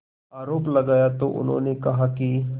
आरोप लगाया तो उन्होंने कहा कि